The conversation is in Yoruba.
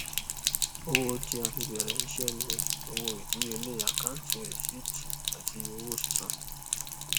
owó tí a fi bẹrẹ iṣẹ ni owó idiyele akanti rìsíìtì àti owó sísan